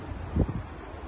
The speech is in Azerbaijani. Yaxşıdır.